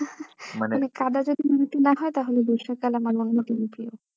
মানে কাঁদা যদি না হয় তাহলে বর্ষাকাল আমার প্রিয়